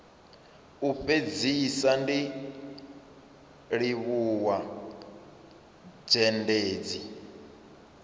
u fhedzisa ndi livhuwa zhendedzi